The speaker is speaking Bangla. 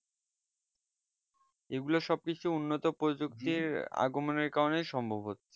এগুলো সব কিছু উন্নত প্রজক্তির আগমনের কারণে সম্ভব হচ্ছে